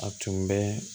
A tun bɛ